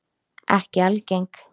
Ekki algeng.